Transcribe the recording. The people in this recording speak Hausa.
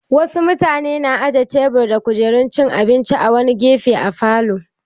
Wasu mutane na aje tebur da kujerun cin abinci a wani gefe a falo.